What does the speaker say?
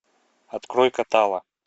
открой катала